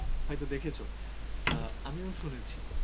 হয়তো দেখেছো অ্যাঁ আমিও শুনেছি